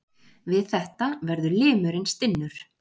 Við þetta verður limurinn stinnur.